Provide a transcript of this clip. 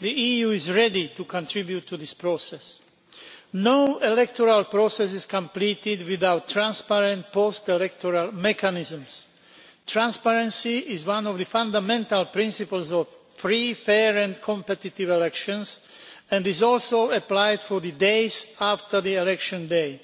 The EU is ready to contribute to this process. No electoral process is completed without transparent post electoral mechanisms. Transparency is one of the fundamental principles of free, fair and competitive elections, and must also be ensured in the days after the election day.